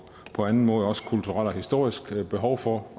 på anden måde også kulturelle og historiske behov for